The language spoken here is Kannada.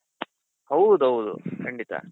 ಹೌದೌದು ಖಂಡಿತ.